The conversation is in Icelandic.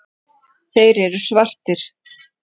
Þeir eru svartir.